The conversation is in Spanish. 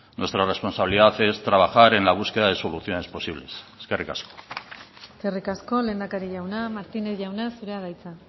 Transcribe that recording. nuestra responsabilidad es trabajar en la búsqueda de soluciones posibles eskerrik asko eskerrik asko lehendakari jauna martínez jauna zurea da hitza